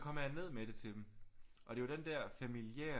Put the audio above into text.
Kommer jeg ned med det til dem og det er den der familiære